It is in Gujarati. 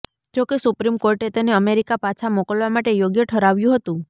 જોકે સુપ્રીમ કોર્ટે તેને અમેરિકા પાછા મોકલવા માટે યોગ્ય ઠરાવ્યું હતું